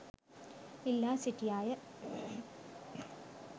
ඉල්ලා සිටියාය.